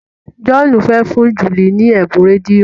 John fè fún Julie ní Ebun rédíò.